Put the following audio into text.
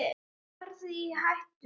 Skilti varar við hættum.